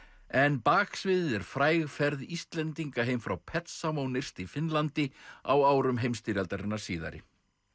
en baksviðið er fræg ferð Íslendinga heim frá nyrst í Finnlandi á árum heimsstyrjaldarinnar síðari